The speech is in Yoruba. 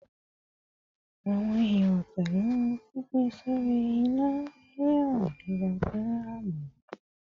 Awọn ero pẹlu fifi sori ina hihan giga fun aabo